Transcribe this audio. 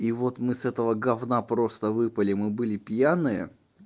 и вот мы с этого говна просто выпали мы были пьяные